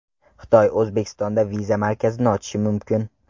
Xitoy O‘zbekistonda viza markazini ochishi mumkin.